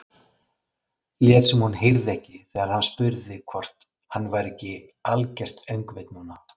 Lét sem hún heyrði ekki þegar hann spurði hvort hann væri ekki algert öngvit núna.